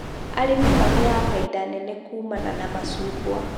Arĩmi magĩaga bainda nene kumana na macungwa